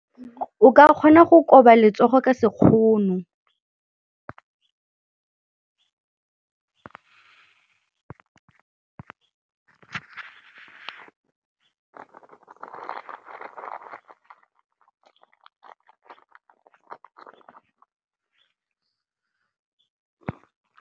O ka kgona go koba letsogo ka sekgono.